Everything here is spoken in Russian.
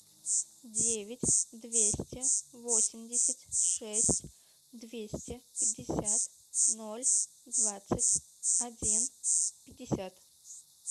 девять двести восемьдесят шесть двести пятьдесят ноль двадцать один пятьдесят